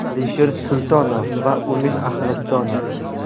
Alisher Sultonov va Umid Ahmadjonov.